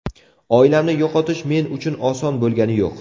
Oilamni yo‘qotish men uchun oson bo‘lgani yo‘q.